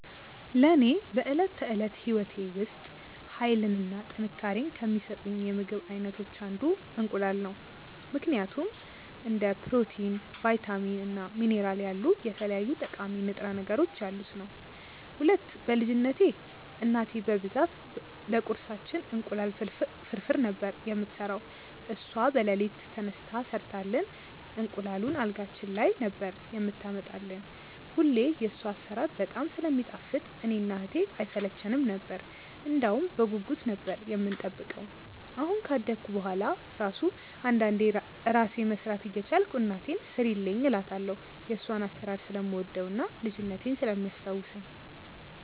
ለኔ በዕለት ተዕለት ሕይወቴ ውስጥ ኃይልን እና ጥንካሬን ከሚሰጡኝ የምግብ አይነቶች አንዱ እንቁላል ነው ምክንያቱም፦ 1. እንደ ፕሮቲን፣ ቫይታሚን እና ሚኒራል ያሉ የተለያዩ ጠቃሚ ንጥረ ነገሮች ያሉት ነዉ። 2. በ ልጅነትቴ እናቴ በብዛት ለቁርሳችን እንቁላል ፍርፍር ነበር የምትሰራው እሷ በለሊት ተነስታ ሰርታልን እንቁላሉን አልጋችን ላይ ነበር የምታመጣልን እና ሁሌ የሷ አሰራር በጣም ስለሚጣፍጥ እኔ እና እህቴ አይሰለቸነም ነበር እንደውም በጉጉት ነበር የምንጠብቀው አሁን ካደኩ በሁዋላ እራሱ አንዳንዴ እራሴ መስራት እየቻልኩ እናቴን ስሪልኝ እላታለው የሷን አሰራር ስለምወደው እና ልጅነቴን ስለሚያስታውሰኝ።